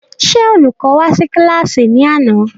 Ṣé Olùkọ́ wá sí kílàsì ní àná?